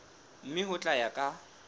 mme ho tla ya ka